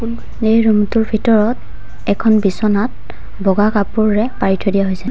এই ৰুম টোৰ ভিতৰত এখন বিছনাত বগা কাপোৰৰে পাৰি থৈ দিয়া হৈছে।